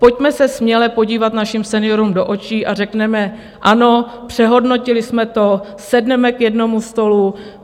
Pojďme se směle podívat našim seniorům do očí a řekněme ano, přehodnotili jsme to, sedneme k jednomu stolu.